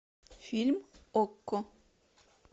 фильм окко